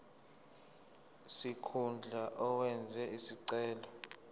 sikhundla owenze isicelo